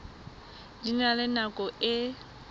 di na le nako e